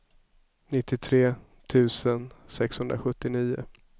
nittiotre tusen sexhundrasjuttionio